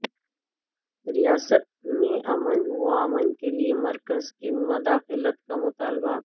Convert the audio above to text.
ریاست میں امن وامان کیلئے مرکز سے مداخلت کا مطالبہ